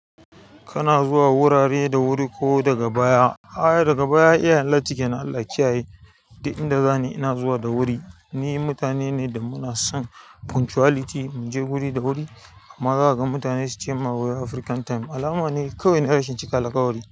Kana zuwa wurare da wuri ko daga baya? A'a, daga baya iyayen latti ke nan, Allah ya kyaye, duk inda zani ina zuwa da wuri. Ni mutane ne da muna son punctuality, mu je wuri da wuri. Amma zaka gan mutane su cema wai "African time", alama ne kawai na rashin cika alƙawari.